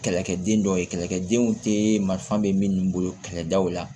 Kɛlɛkɛden dɔw ye kɛlɛkɛdenw tɛ marifa bɛ minnu bolo kɛlɛdaw la